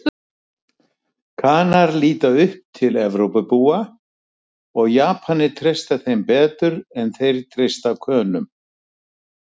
Kanar líta upp til Evrópubúa og Japanir treysta þeim betur en þeir treysta Könum.